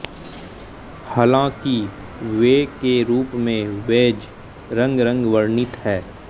हालांकि वे के रूप में बेज रंग रंग वर्णित है